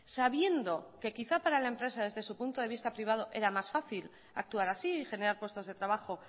sabiendo que quizá para la empresa desde su punto de vista privado era más fácil actuar así y generar puestos de trabajo